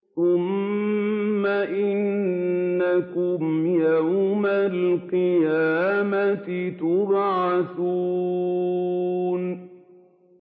ثُمَّ إِنَّكُمْ يَوْمَ الْقِيَامَةِ تُبْعَثُونَ